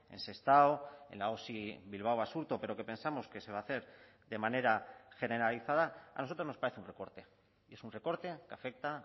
en sestao en la osi bilbao basurto pero que pensamos que se va a hacer de manera generalizada a nosotros nos parece un recorte y es un recorte que afecta